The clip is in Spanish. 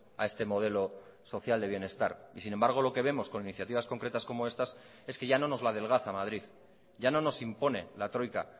a este modelo social de bienestar y sin embargo lo que vemos con iniciativas concretas como estas es que ya no nos la adelgaza madrid ya no nos impone la troika